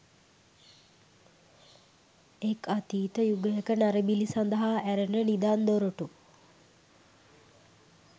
එක් අතීත යුගයක නරබිලි සඳහා ඇරෙන නිදන් දොරටු